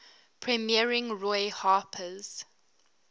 premiering roy harper's